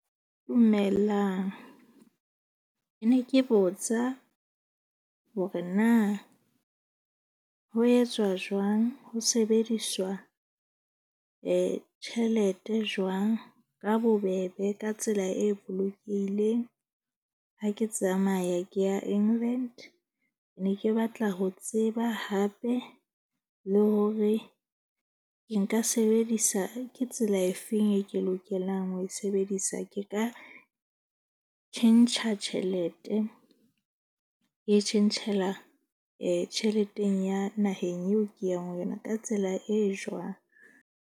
Dumelang ne ke botsa hore na ho etswa jwang ho sebediswa tjhelete jwang ka bobebe ka tsela e bolokehileng? Ha ke tsamaya ke ya England ne ke batla ho tseba hape le hore ke nka sebedisa ke tsela efeng e ke lokelang ho e sebedisa? Ke ka tjhentjha tjhelete ke tjhentjhela tjheleteng ya naheng eo ke yang ho yona ka tsela e jwang?